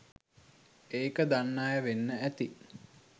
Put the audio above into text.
ඒක දන්න අය වෙන්න ඇති